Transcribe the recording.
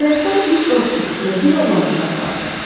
Qayıqda üç ovçu və bir oğlan uşağı vardı.